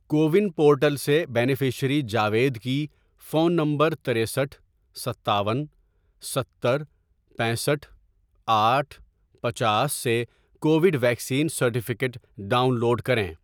CoWIN portal سے beneficiary Javed کی، phone number ترستھ ،ستاون، ستر، پینسٹھ ،آٹھ ،پچاس، سے، Covid vaccine certificate download کریں۔